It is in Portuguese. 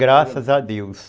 Graças a Deus.